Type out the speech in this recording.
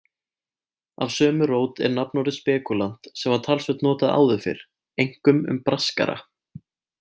Af sömu rót er nafnorðið spekúlant sem var talsvert notað áður fyrr, einkum um braskara.